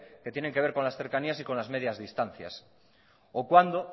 que tienen que ver con las cercanías y las medias distancias o cuando